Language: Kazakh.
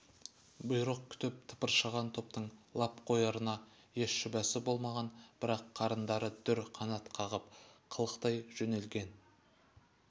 бұйрық күтіп тықыршыған топтың лап қоярына еш шүбәсі болмаған бірақ қырандары дүр қанат қағып қалықтай жөнелген